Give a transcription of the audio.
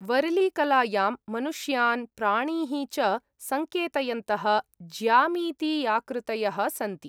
वरलीकलायां मनुष्यान् प्राणीः च सङ्केतयन्तः ज्यामितीयाकृतयः सन्ति।